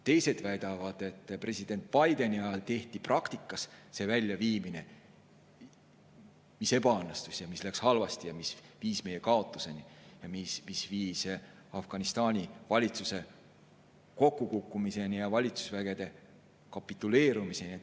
Teised väidavad, et president Bideni ajal tehti praktikas see väljaviimine, mis ebaõnnestus, mis läks halvasti ja mis viis meie kaotuseni, Afganistani valitsuse kokkukukkumiseni ja valitsusvägede kapituleerumiseni.